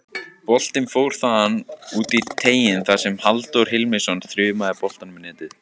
Boltinn fór þaðan út í teiginn þar sem Halldór Hilmisson þrumaði boltanum í netið.